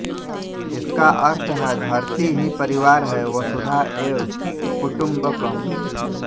इसका अर्थ है धरती ही परिवार है वसुधा एव कुटुम्बकम्